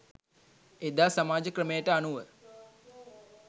එදා සමාජ ක්‍රමයට අනුව